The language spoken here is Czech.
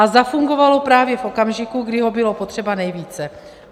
A zafungovalo právě v okamžiku, kdy ho bylo potřeba nejvíce.